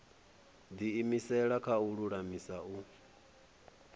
diimisela kha u lulamisa u